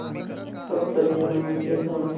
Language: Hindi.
सच्चरित्र मनुष्य समझते